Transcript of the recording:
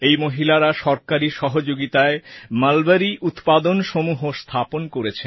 এই মহিলারা সরকারী সহযোগিতায় মলবরী উৎপাদন সমূহ স্থাপন করেছেন